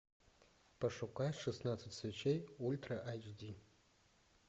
пошукай шестнадцать свечей ультра айч ди